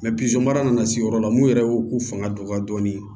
mara nana se yɔrɔ la mun yɛrɛ y'o u fanga dɔgɔya dɔɔnin